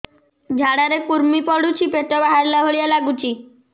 ଝାଡା ରେ କୁର୍ମି ପଡୁଛି ପେଟ ବାହାରିଲା ଭଳିଆ ଲାଗୁଚି